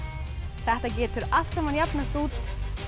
þetta getur allt saman jafnast út